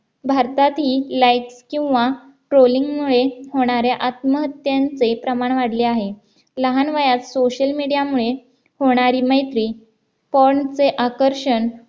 भारतातील like किंवा trolling मुळे होणाऱ्या आत्महत्यांचे प्रमाण वाढले आहे लहान वयात social media मुळे होणारी मैत्री porn चे आकर्षण